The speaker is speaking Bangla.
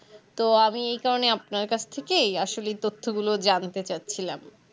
তো আমি এই কারণে আপনার কাছ থেকে এই তথ্য গুলো জানতে চাচ্ছিলাম